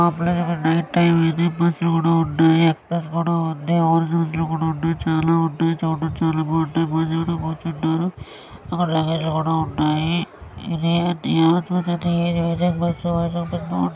Night time అయింది.బస్ లు కూడా ఉన్నాయి. చాలా ఉంటాయి. అక్కడ లగేజ్ కూడా ఉన్నాయి. ఇది చూసినట్టాయితే ఇది వైజాగ్ బస్ .